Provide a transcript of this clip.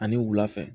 Ani wula fɛ